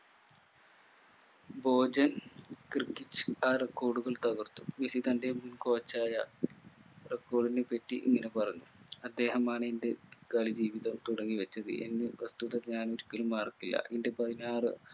ഗോർജ cricket record കൾ തകർത്ത്‌ Messi തന്റെ coach ആയ ബ്രെകോലിനെ പറ്റി ഇങ്ങനെ പറഞ്ഞു അദ്ദേഹമാണ് എന്റെ കളി ജീവിതം തുടങ്ങി വെച്ചത് എന്ന വസ്തുതക്ക് ഞാൻ ഒരിക്കലും മറക്കില്ല എൻ്റെ പതിനാർ